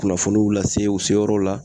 Kunnafoniw lase u seyɔrɔw la